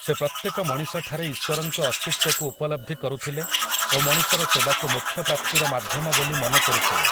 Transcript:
ସେ ପ୍ରତ୍ୟେକ ମଣିଷଠାରେ ଈଶ୍ୱରଙ୍କ ଅସ୍ତିତ୍ବକୁ ଉପଲବ୍ଧି କରୁଥିଲେ ଓ ମଣିଷର ସେବାକୁ ମୋକ୍ଷପ୍ରାପ୍ତିର ମାଧ୍ୟମ ବୋଲି ମନେ କରୁଥିଲେ ।